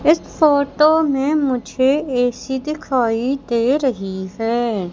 इस फोटो में मुझे ए_सी दिखाई दे रही है।